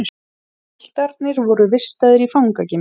Piltarnir voru vistaðir í fangageymslu